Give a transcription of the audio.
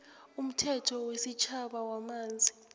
umthetho wesitjhaba wamanzi